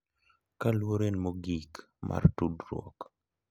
Ka luor en mogik mar tudruok, .